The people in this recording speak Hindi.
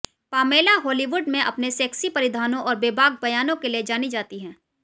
पामेला हॉलीवुड में अपने सेक्सी परिधानों और बेबाक बयानों के लिए जानी जाती हैं